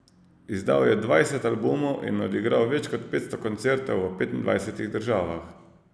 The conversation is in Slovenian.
Izdal je dvajset albumov in odigral več kot petsto koncertov v petindvajsetih državah.